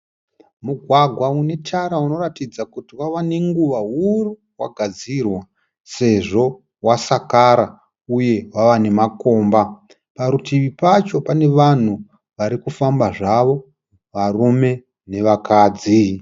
Mugwagwa une tara unoratidza kuti wava nenguva huru wagadzirwa sezvo wasakara uye wava nemakomba. Parutivi pacho pane vanhu varikufamba zvavo varume nevakadzi.